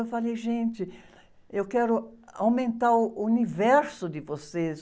Eu falei, gente, eu quero aumentar o universo de vocês.